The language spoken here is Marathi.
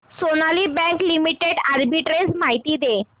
सोनाली बँक लिमिटेड आर्बिट्रेज माहिती दे